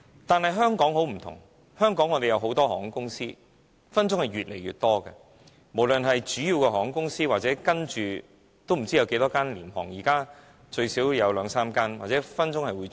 但是香港不一樣，香港有很多航空公司，將來很可能會越來越多，無論是主要的航空公司還是未來不知有多少間廉航，如今最少有兩間。